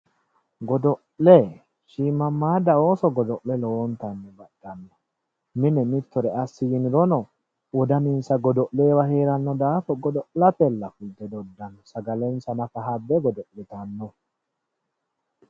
Godo'le shiimmammaaddaanna ooso lowonta baxxanno mine mittore assi yinirono wodaninsa godo'lenniwa heeranno daafo godo'latella doddanno sagalensa nafa habbe godo'litanno